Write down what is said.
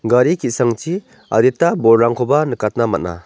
gari ki·sangchi adita bolrangkoba nikatna man·a.